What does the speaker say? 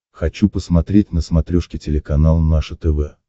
хочу посмотреть на смотрешке телеканал наше тв